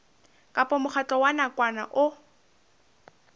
kapa mokgatlo wa nakwana o